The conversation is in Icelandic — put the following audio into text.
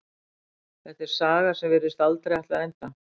Þetta er saga sem virðist aldrei ætla að enda.